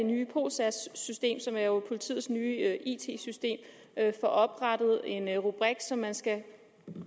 nye polsagsystem som er politiets nye it system får oprettet en rubrik som man skal